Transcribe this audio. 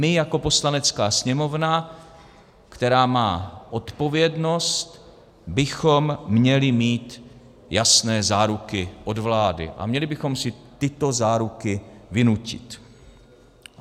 My jako Poslanecká sněmovna, která má odpovědnost, bychom měli mít jasné záruky od vlády a měli bychom si tyto záruky vynutit.